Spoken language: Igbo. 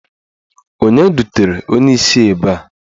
Onye dutere onye isi a ebe a?